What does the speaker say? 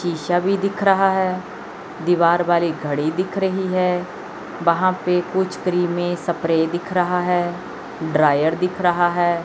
शीशा भी दिख रहा है दीवार वाली घड़ी दिख रही है वहां पे कुछ क्रीमें सपरे दिख रहा है ड्रायर दिख रहा है।